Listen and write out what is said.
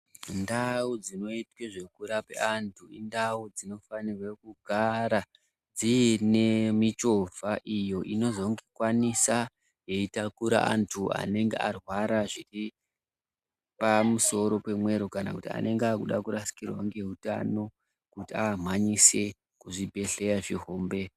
Ndau dzinoita zvekurapa antu indau dzinofanirwa kugara dzine michivha iyo inozonge yeikwanisa kutaura antu anenge arwara zviri pamusoro pemweero panenge achida kurasirwa kuti amhanyiswe kuzvibhedhlera zvihommbe.